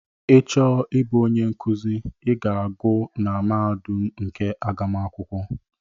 Ị chọọ ịbụ onye nkụzi I gụọ na mahadum nke agụmakwụkwọ.